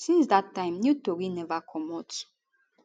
since dat time new tori neva comot